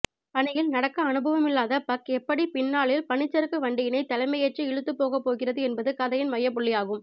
பனியில் நடக்க அனுபவமில்லாத பக் எப்படிப் பின்னாளில் பனிச்சறுக்கு வண்டியினைத் தலைமையேற்று இழுத்துப் போகப்போகிறது என்பது கதையின் மையப்புள்ளியாகும்